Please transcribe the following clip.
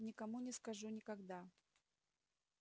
никому не скажу никогда